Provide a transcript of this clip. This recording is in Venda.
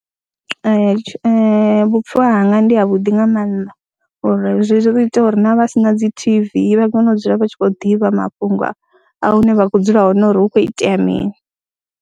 Ee, vhupfhiwa hanga ndi havhuḓi nga maanḓa uri zwi ḓo ita uri na vha si na dzi T_V vha kone u dzula vha tshi khou ḓivha mafhungo a hune vha khou dzula hone uri hu khou itea mini.